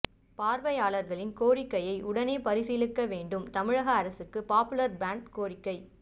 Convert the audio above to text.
பார்வையற்றவர்களின் கோரிக்கைகளை உடனே பரிசீலிக்க வேண்டும் தமிழக அரசுக்கு பாப்புலர் ஃப்ரண்ட் கோரிக்கை